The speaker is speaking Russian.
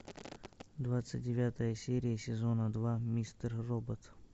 двадцать девятая серия сезона два мистер робот